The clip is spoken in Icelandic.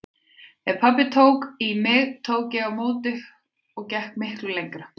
Ef pabbi tók í mig tók ég á móti og gekk miklu lengra.